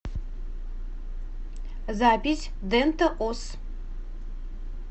запись дента ос